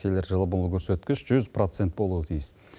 келер жылы бұл көрсеткіш жүз процент болуы тиіс